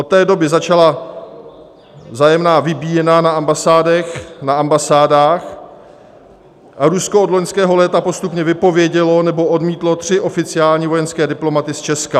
Od té doby začala vzájemná vybíjená na ambasádách a Rusko od loňského léta postupně vypovědělo nebo odmítlo tři oficiální vojenské diplomaty z Česka.